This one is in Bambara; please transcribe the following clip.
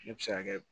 Ne bɛ se ka kɛ